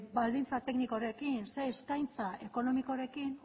baldintza teknikorekin zer eskaintza ekonomikorekin